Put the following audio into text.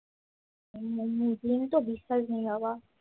হম তোবিশাল ভিড় বাবা